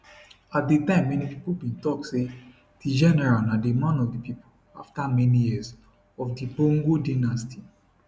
at di time many pipo bin tok say di general na di man of di pipo afta many years of di bongo dynasty